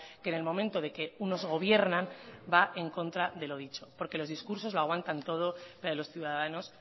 que en el momento que unos gobiernan va en contra de lo dicho porque los discursos lo aguantan todo pero a los ciudadanos